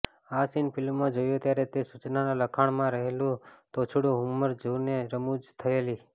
આ સીન ફિલ્મમાં જોયો ત્યારે તે સૂચનાના લખાણમાં રહેલું તોછડું હ્યુમર જોઈને રમૂજ થયેલી